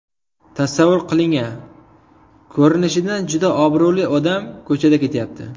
Tasavvur qiling-a: Ko‘rinishidan juda obro‘li odam ko‘chada ketayapti.